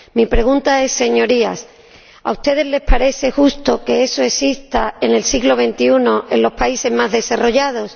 Mi pregunta es, Señorías ¿a ustedes les parece justo que eso exista en el siglo XXI en los países más desarrollados?